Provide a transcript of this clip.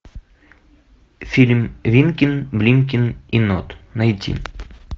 фильм винкин блинкин и нот найти